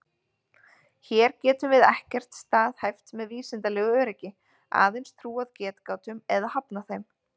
Hér getum við ekkert staðhæft með vísindalegu öryggi, aðeins trúað getgátum eða hafnað þeim.